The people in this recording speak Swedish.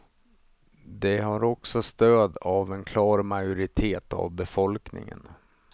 Det har också stöd av en klar majoritet av befolkningen.